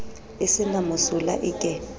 e se na mosola eke